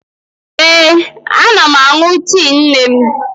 Ee, ana m aṅụ tii Neem.